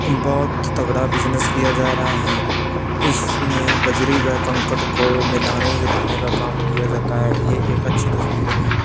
बहोत तगड़ा बिजनेस किया जा रहा है इसमें बजरी व कंकड़ को मिलने हीलाने का काम किया जाता है ये एक अच्छी तस्वीर है।